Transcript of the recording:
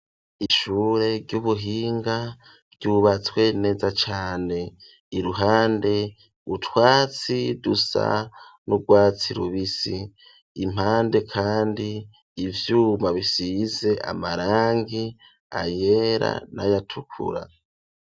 Ishure ry'ubuhinga ryubatswe neza cane iruhande utwatsi dusa n'ugwatsi rubisi impande kandi ivyuma bisize amarangi ayera n'ayatukura.